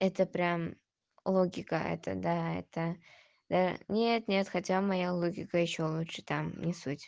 это прям логика это да это да нет нет хотя моя логика ещё лучше там не суть